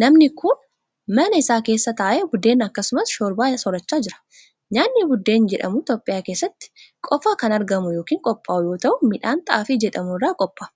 Namni kun, mana isaa keessa taa'ee buddena akkasumas shorbaa soorachaa jira. Nyaanni buddeen jedhamu Itoophiyaa keessatti qofa kan argamu yokin qophaa'u yoo ta'u, midhaan xaafii jedhamu irraa qopha'a.